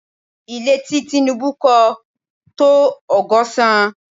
Ile ti Tinubu kọ́ to ọgọ́sán